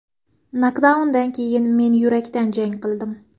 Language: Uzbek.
Nokdaundan keyin men yurakdan jang qildim.